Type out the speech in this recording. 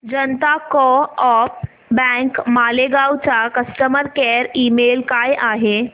जनता co-op bank Malegaon चा customer care email काय आहे